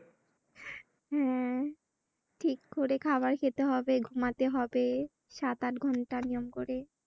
হম ঠিক করে খাওয়ার খেতে হবে ঘুমাতে হবে সাট আট ঘন্টা নিয়ম করে ।